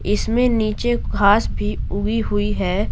इसमें नीचे घास भी उगी हुई है।